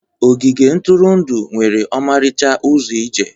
Ogige ntụrụndụ nwere ọmarịcha ụzọ ije.